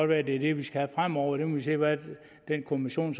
være at det er det vi skal have fremover der må vi se hvad den kommission